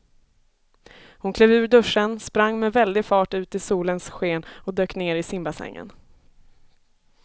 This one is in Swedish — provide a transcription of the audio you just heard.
Hon klev ur duschen, sprang med väldig fart ut i solens sken och dök ner i simbassängen.